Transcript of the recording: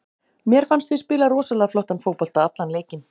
Mér fannst við spila rosalega flottan fótbolta allan leikinn.